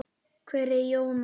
Hver er Jónas?